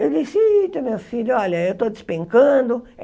Eu disse, eita, meu filho, olha, eu estou despencando.